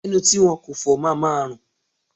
Ẹnu tí a kò fọ máa ma rùn.